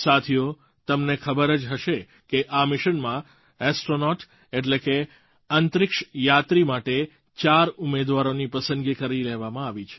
સાથીઓ તમને ખબર જ હશે કે આ મિશનમાં ઍસ્ટ્રૉનૉટ એટલે કે અંતરિક્ષયાત્રી માટે ચાર ઉમેદવારોની પસંદગી કરી લેવામાં આવી છે